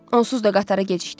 Onsuz da qatara gecikdim.